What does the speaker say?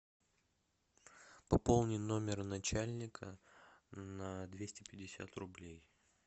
пополни номер начальника на двести пятьдесят рублей